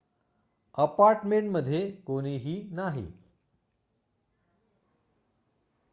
apartment मध्ये कोणीही नाही